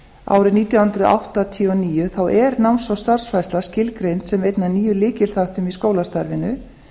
árið nítján hundruð áttatíu og níu er náms og starfsfræðsla skilgreind sem einn af nýjum lykilþáttum í skólastarfinu